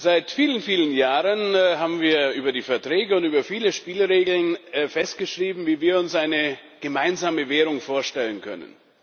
Seit vielen, vielen Jahren haben wir über die Verträge und über viele Spielregeln festgeschrieben, wie wir uns eine gemeinsame Währung vorstellen können.